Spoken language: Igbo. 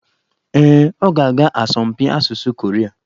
Ee, ọ ga-aga asọmpi asụsụ Koria.